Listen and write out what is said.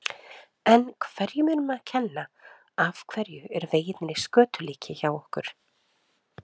En hverju er um að kenna, af hverju eru vegirnir í skötulíki hjá okkur?